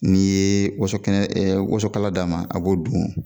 N'i ye wosokɛnɛ e wosokala d'a ma a b'o dun